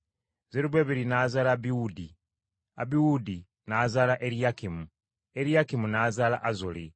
Zerubbaberi n’azaala Abiwuudi, Abiwuudi n’azaala Eriyakimu, Eriyakimu n’azaala Azoli.